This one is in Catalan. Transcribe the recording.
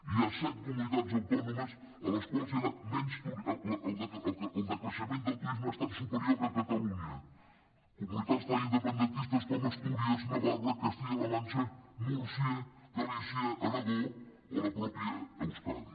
hi ha set comunitats autònomes en les quals el decreixement del turisme ha estat superior que a catalunya comunitats tan independentistes com astúries navarra castilla la mancha múrcia galícia aragó o la mateixa euskadi